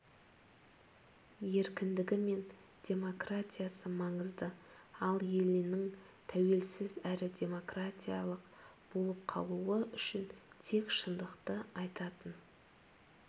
еркіндігі мен демократиясы маңызды ал елінің тәуелсіз әрі демократиялық болып қалуы үшін тек шындықты айтатын